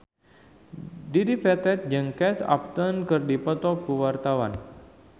Dedi Petet jeung Kate Upton keur dipoto ku wartawan